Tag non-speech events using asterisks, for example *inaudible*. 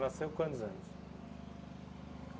*unintelligible* com quantos anos?